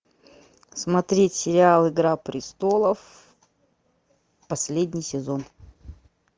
смотреть сериал игра престолов последний сезон